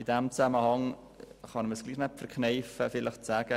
In diesem Zusammenhang kann ich es mir nicht verkneifen, zu sagen: